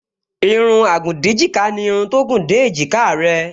Irun agùndéjìká ni irun tó gùn dé èjìká rẹ